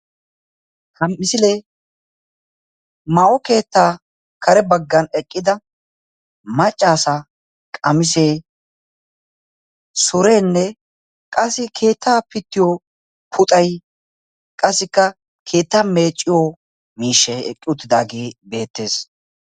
Ha misile maayo keetta karee baggan eqqida maca asaa qamisee, surenee qassi keetta piitiyo puuxay qassika keetttaa meeciyo miishshay eqqidage betees.